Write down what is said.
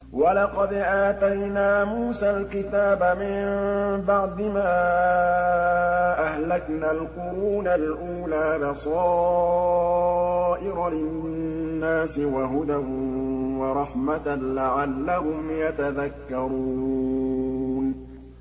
وَلَقَدْ آتَيْنَا مُوسَى الْكِتَابَ مِن بَعْدِ مَا أَهْلَكْنَا الْقُرُونَ الْأُولَىٰ بَصَائِرَ لِلنَّاسِ وَهُدًى وَرَحْمَةً لَّعَلَّهُمْ يَتَذَكَّرُونَ